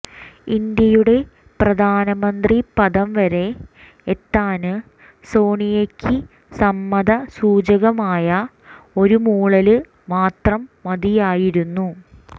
ഇന്ത്യയുടെ പ്രധാനമന്ത്രി പദം വരെ എത്താന് സോണിയക്ക് സമ്മത സൂചകമായ ഒരു മൂളല് മാത്രം മതിയായിരുന്നു